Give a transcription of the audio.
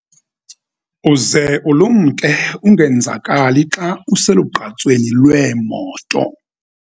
Uze ulumke ungenzakali xa uselugqatsweni lweemoto.